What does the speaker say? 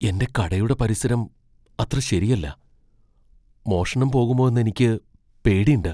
എന്റെ കടയുടെ പരിസരം അത്ര ശരിയല്ല, മോഷണം പോകുമോന്നെനിക്ക് പേടീണ്ട്.